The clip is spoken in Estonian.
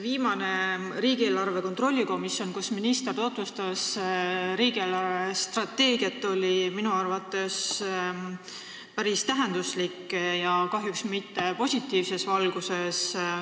Viimane riigieelarve kontrolli komisjoni istung, kus minister tutvustas riigi eelarvestrateegiat, oli minu arvates päris tähenduslik ja kahjuks mitte positiivses valguses.